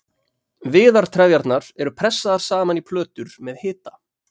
viðartrefjarnar eru pressaðar saman í plötur með hita